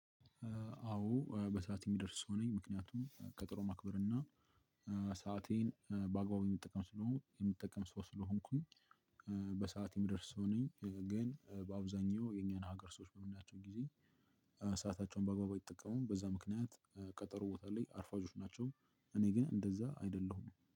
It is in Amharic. አዎ በሰአት የምደርስ ሰው ነኝ ምክንያቱም ቀጠሮ ማክበር እና ሰአቴን በአግባቡ የሚጠቀማቸው ስለሆንኩኝ የሚጠቀም ሰው ስለሆንኩኝ። በሰአት የምደርስ ሰው ነኝ። ግን በአብዛኛው የኛን ሀገር ሰዎች በምናቸው ጊዜ ሰአታቸውን በአግባቡ አይጠቀሙ በዛ ምክንያት ቀጠሮ ቦታ ላይ አርፋጆች ናቸው። እኔ ግን እንደዛ አይደለሁም